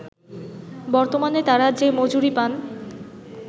বর্তমানে তারা যে মজুরি পান